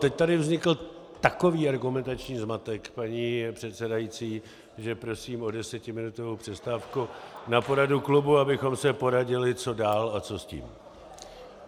Teď tady vznikl takový argumentační zmatek, paní předsedající, že prosím o desetiminutovou přestávku na poradu klubu, abychom se poradili, co dál a co s tím.